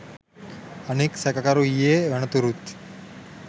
අනෙක්‌ සැකකරු ඊයේ වනතුරුත්